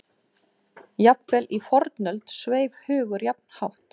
Jafnvel í fornöld sveif hugur jafn hátt.